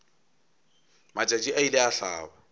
matšatši a ile a hlaba